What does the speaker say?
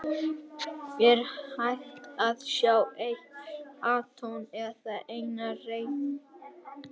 Er hægt að sjá eitt atóm eða eina rafeind?